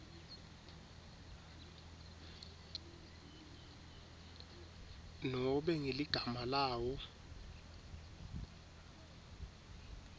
nobe ngeligama lawo